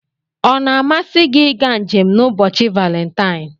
Ọ na-amasị gị ịga njem n'ụbọchị Valentine?